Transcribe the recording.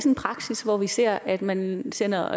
en praksis hvor vi ser at man sender